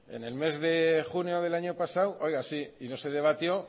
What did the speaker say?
en el mes de junio del año pasado oiga sí y no se debatió